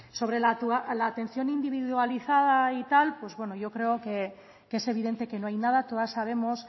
sobre la atención individualizada yo creo que es evidente que no hay nada todas sabemos